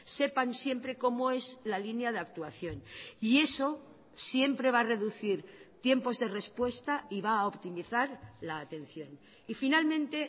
sepan siempre cómo es la línea de actuación y eso siempre va a reducir tiempos de respuesta y va a optimizar la atención y finalmente